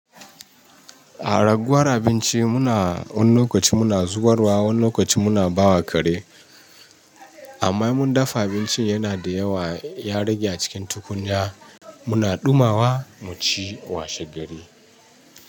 A raguwar abinci muna wani lokaci muna zubarwa, wani lokaci muna bawa kare. Amma mun dafa abinci yana da yawa ya rage a cikin tukunya muna ɗumawa mu ci washe gari.